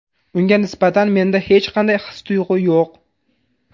Unga nisbatan menda hech qanday his-tuyg‘u yo‘q.